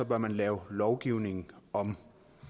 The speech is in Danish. bør man lave lovgivningen om